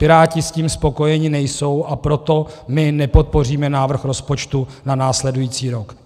Piráti s tím spokojeni nejsou, a proto my nepodpoříme návrh rozpočtu na následující rok.